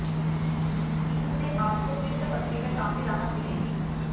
इससे आपको पित्त पथरी में काफी राहत मिलेगी